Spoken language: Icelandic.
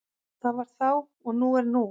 Það var þá og nú er nú.